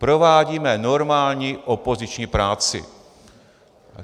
Provádíme normální opoziční práci.